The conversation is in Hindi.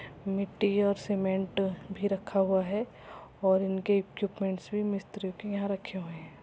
मिटटी और सीमेंट भी रखा हुआ है और इनके इइक्विपमेंट्स भी मिस्त्री के यहाँ रखे है।